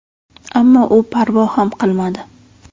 Ammo u parvo ham qilmadi.